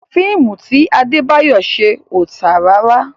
Fíìmù ti Adébáyọ̀ ṣe ò tà rárá.